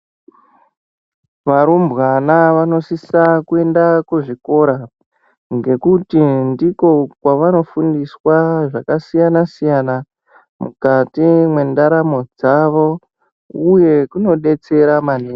Varumbwana vanosisa kuenda kuzvikora ngekuti ndiko kwavano fundiswa zvakasiyana siyana mukati mwendaramo dzavo uye kuno detsera maningi.